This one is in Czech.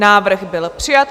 Návrh byl přijat.